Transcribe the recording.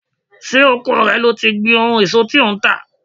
Ṣé oko rẹ ni ó ti gbin èso tí ò ń tà?